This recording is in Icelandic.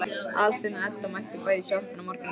Aðalsteinn og Edda mættu bæði í sjoppuna morguninn eftir.